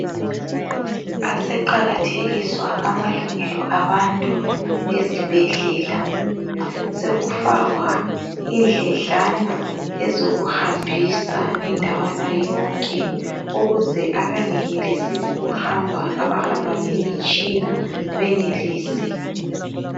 Aseqakathekiswa amalungelo abantu ezibhedlela. Sekufakwa indledlana zokuhambisa ndawana yonke, ukuze abengenelisi ukuhamba, abahamba ngemitshina benelise.